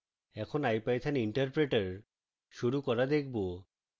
এখন ipython interpreter শুরু করা দেখবো